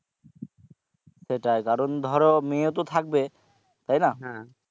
সেটাই কারণ ধরো মেয়ে ও তো থাকবে তাই না?